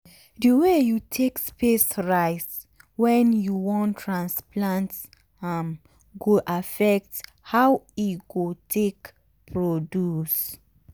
the way you take space rice when you wan transplant am go affect how e go take produce